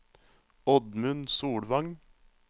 Oddmund Solvang